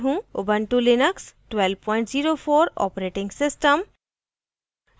Ubuntu Linux 1204 operating system